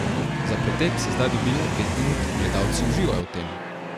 Za pretep se zdaj dobi le pet minut, gledalci uživajo v tem.